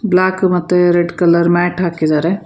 Block ಮತ್ತೆ red colour mat ಹಾಕಿದರೆ.